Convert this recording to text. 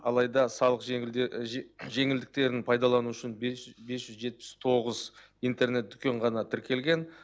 алайда салық жеңілдіктерін пайдалану үшін бес жүз жетпіс тоғыз интернет дүкен ғана тіркелген